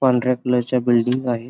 पांढऱ्या कलर च्या बिल्डिंग आहेत.